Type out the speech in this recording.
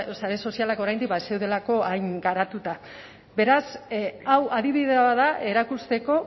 sare sozialak oraindik ez zeudelako hain garatuta beraz hau adibide bat da erakusteko